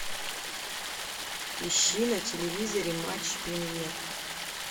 ищи на телевизоре матч премьер